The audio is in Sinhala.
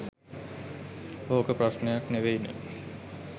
ඕක ප්‍රශ්නයක් නෙවෙයි නෙ.